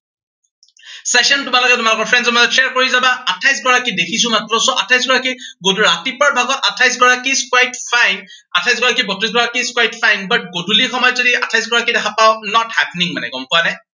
session তোমালোকে তোমালোকৰ friends ৰ মাজত share কৰি যাবা, আঠাইশগৰাকী দেখিছো মাত্ৰ। so আঠাইশগৰাকী, উম ৰাতিপুৱাৰ ভাগত আঠাইশগৰাকী quite fine আঠাইশগৰাকী, বত্ৰিশগৰাকী quite fine, but গধূলি সময়ত যদি আঠাইশগৰাকী দেখা পাও not happening মানে, গম পোৱানে?